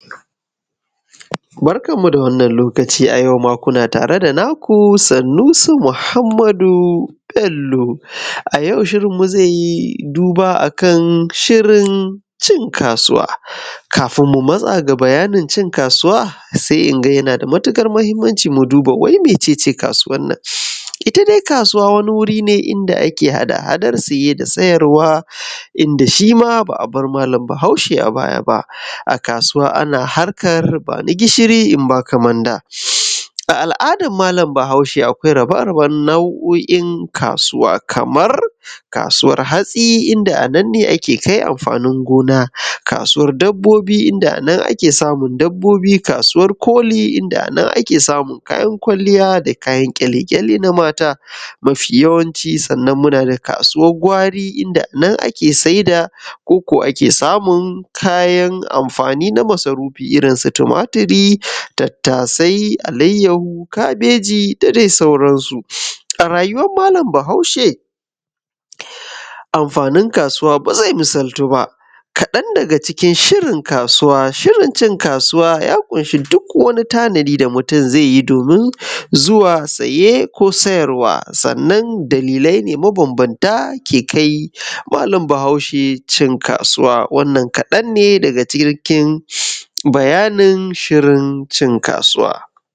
Barkanmu da wannan lokaci a yau ma kuna tare da naku Sanusi Muhammadu Bello a yau shirinmu zeyi duba akan shirin cin kasuwa kabun mu matsa ga bayanin cin kasuwa se inga yana da matuƙar mahinmaninci mu duba mai mece ce kasuwannan ita dai kasuwa wuri ne inda ake hada-hadan siye da sayar wa inda shim aba a bar malami bahaushe a baya a kasuwa ana harkan bani gishiti in baka manda a al’adan malami bahaushe akwai hada-hada nauoin kasuwa kamar kasuwan hatsi inda a nane ake kai amafini gona kasuwan dabbi inada a nane ake samun dabbobi kasuwan koli inda a nane ake samun kayan kwaliya da kayan kyale kyale na mata mafi yawanci sannan muna da kasuwan gwari inda nan ake sai da ko ake samun kayan amafini na masarufi irin su tomaturi tattasai alayahu kabeji da dai sauransu a rayuwan malami bahaushe amfanin kasuwa ba zai misaltuwa kaɗan da ga cikin shirin kasuwa shirin cin kasuwa ya ƙunshi duk wannan tanadi da mutun ze yi domin zuwa saye ko sayar wa sanan dalilai ne mabanbamta ake kai malam bahaushe cin kasuwa wannan kaɗan ne daga cikin bayani shirin cin kasuwa.